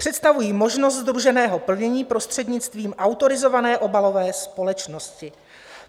Představují možnost sdruženého plnění prostřednictvím autorizované obalové společnosti.